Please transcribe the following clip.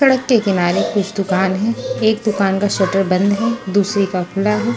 सड़क के किनारे कुछ दुकान है एक दुकान का शटर बंद है दूसरी का खुला है।